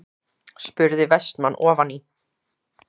spurði Vestmann ofan í.